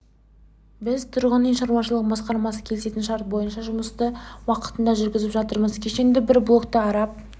біз тұрғын-үй шаруашылығы басқармасымен келісілген шарт бойынша жұмысты уақытында жүргізіп жатырмыз кешендегі бір блокты араб